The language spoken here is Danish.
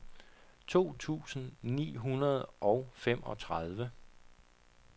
to tusind ni hundrede og femogtredive